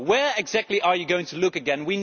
Where exactly are you going to look again?